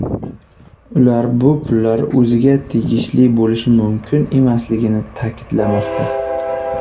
Ular bu pullar o‘ziga tegishli bo‘lishi mumkin emasligini ta’kidlamoqda.